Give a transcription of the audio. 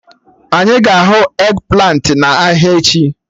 Anyị ga-ahụ eggplant ị n'ahịa echi